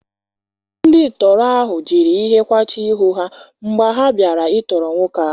Ndị tọọrọ ahụ jiri ihe kwachie ihu ha mgbe ha bịara ịtọrọ nwoke ahụ.